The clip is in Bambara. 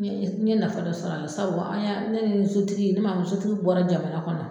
N ye n ye nafa dɔ sɔrɔ a la sabu an y'a ne ni sotigi ne man sotigi bɔra jamana kɔnɔ